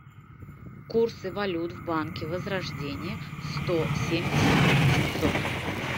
курсы валют в банке возрождение сто семьдесят семьсот